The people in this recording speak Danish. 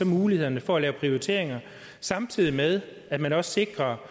mulighederne for at lave prioriteringer samtidig med at man også sikrer